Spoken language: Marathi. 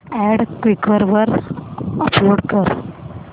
अॅड क्वीकर वर अपलोड कर